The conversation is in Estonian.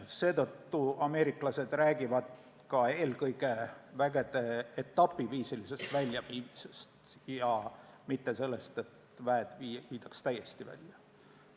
Seetõttu ameeriklased räägivad eelkõige vägede etapiviisilisest väljaviimisest, mitte sellest, et väed viiakse täiesti välja.